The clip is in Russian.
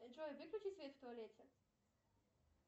джой выключи свет в туалете